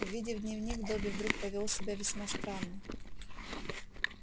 увидев дневник добби вдруг повёл себя весьма странно